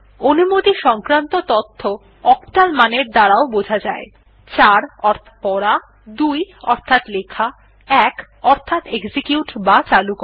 অনুমতি সংক্রান্ত তথ্য অক্টাল মানের দ্বারা বোঝা যায় ৪ অর্থাৎ পড়া ২ অর্থাৎ লেখা ১ অর্থাৎ এক্সিকিউট বা চালু করা